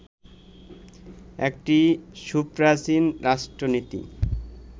একটি সুপ্রাচীন রাষ্ট্রনীতি